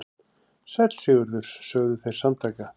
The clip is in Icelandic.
Sæll Sigurður, sögðu þeir samtaka.